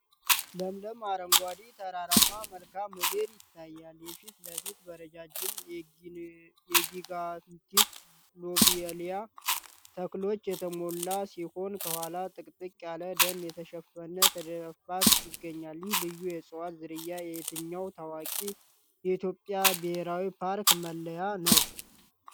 ለምለም አረንጓዴ ተራራማ መልክዓ ምድር ይታያል። የፊት ለፊቱ በረጃጅም የ"ጊጋንቲክ ሎቤሊያ" ተክሎች የተሞላ ሲሆን፣ ከኋላው ጥቅጥቅ ያለ ደን የተሸፈነ ተዳፋት ይገኛል። ይህ ልዩ የእፅዋት ዝርያ የየትኛው ታዋቂ የኢትዮጵያ ብሔራዊ ፓርክ መለያ ነው?